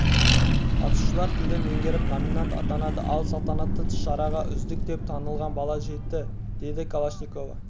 қатысушылар тілді меңгеріп номинант атанды ал салтанатты шараға үздік деп танылған бала жетті деді калашникова